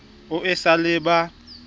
o e sa le ba